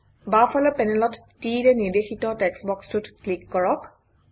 বাওঁফালৰ পেনেলত T ৰে নিৰ্দেশিত টেক্সটবক্সটোত ক্লিক কৰক